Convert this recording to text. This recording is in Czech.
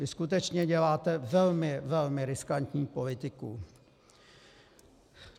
Vy skutečně děláte velmi, velmi riskantní politiku.